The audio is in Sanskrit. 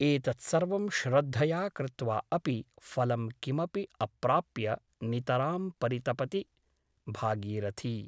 एतत्सर्वं श्रद्धया कृत्वा अपि फलं किमपि अप्राप्य नितरां परितपति भागीरथी ।